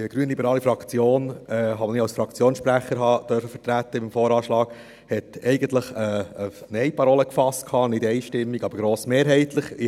Denn die grünliberale Fraktion, die ich als Fraktionssprecher beim VA vertreten durfte, hat eigentlich eine Nein-Parole gefasst, nicht einstimmig, aber grossmehrheitlich.